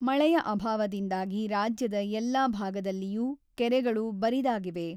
ಮಳೆಯ ಅಭಾವದಿಂದಾಗಿ ರಾಜ್ಯದ ಎಲ್ಲಾ ಭಾಗದಲ್ಲಿಯೂ ಕೆರೆಗಳು ಬರಿದಾಗಿವೆ.